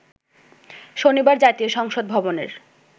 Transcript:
শনিবার জাতীয় সংসদ ভবনের